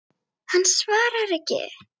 Hann svaraði ekki.